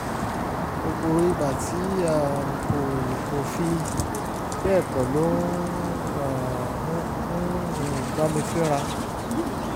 kòkòrò ibà tí um kò kò fi bẹ́ẹ̀ pọ̀ ló um ń um bá mi fínra